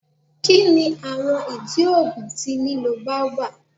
Kini awọn idi oogun ti lilo baobab?